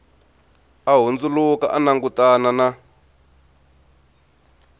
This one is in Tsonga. a hundzuluka a langutana na